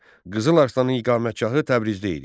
Qızıl Arslanın iqamətgahı Təbrizdə idi.